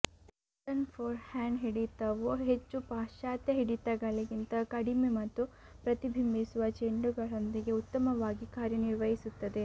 eastern forehand ಹಿಡಿತವು ಹೆಚ್ಚು ಪಾಶ್ಚಾತ್ಯ ಹಿಡಿತಗಳಿಗಿಂತ ಕಡಿಮೆ ಮತ್ತು ಪ್ರತಿಬಂಧಿಸುವ ಚೆಂಡುಗಳೊಂದಿಗೆ ಉತ್ತಮವಾಗಿ ಕಾರ್ಯನಿರ್ವಹಿಸುತ್ತದೆ